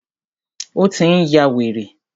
Ó tí n yá wèrè.